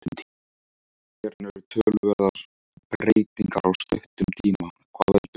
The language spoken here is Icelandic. Hérna eru töluverðar breytingar á stuttum tíma, hvað veldur?